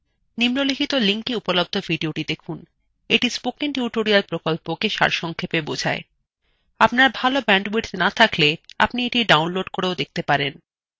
আপনার ভাল bandwidth না থাকলে আপনি the download করেও দেখতে পারেন